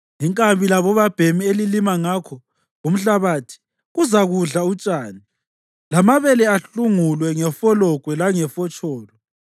Inkabi labobabhemi elilima ngakho umhlabathi kuzakudla utshani lamabele ahlungulwe ngefologwe langefotsholo.